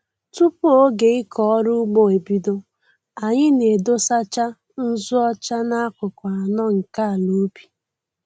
Tupu oge ịkọ ọrụ ugbo ebido, anyị na-edosacha nzụ ọcha n'akụkụ anọ nke ala ubi